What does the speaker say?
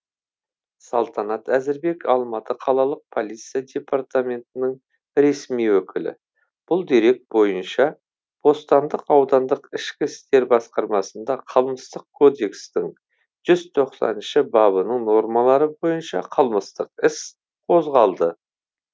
салтанат әзірбек алматы қалалық полиция департаментінің ресми өкілі бұл дерек бойынша бостандық аудандық ішкі істер басқармасында қылмыстық кодекстің жүз тоқсаныншы бабының нормалары бойынша қылмыстық іс қозғалды